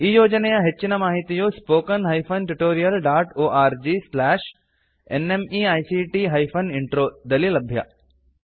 ಈ ಯೋಜನೆಯ ಹೆಚ್ಚಿನ ಮಾಹಿತಿಯು spoken hyphen tutorial dot org slash NMEICT hyphen intro ದಲ್ಲಿ ಲಭ್ಯ